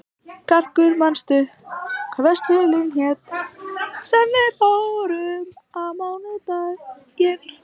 Karkur, manstu hvað verslunin hét sem við fórum í á mánudaginn?